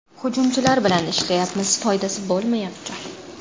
Hujumchilar bilan ishlayapmiz, foydasi bo‘lmayapti.